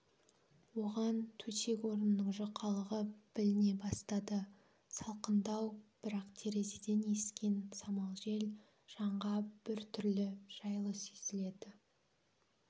оған төсек-орынның жұқалығы біліне бастады салқындау бірақ терезеден ескен самал жел жанға бір түрлі жайлы сезілді